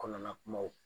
Kɔnɔna kumaw